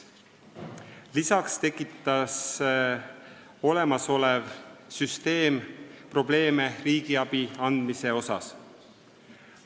Lisaks on olemasolev süsteem tekitanud probleeme riigiabi andmise mõttes.